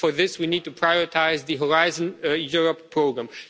For this, we need to prioritise the Horizon Europe programme.